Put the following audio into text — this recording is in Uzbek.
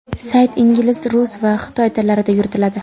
Sayt ingliz, rus va xitoy tillarida yuritiladi.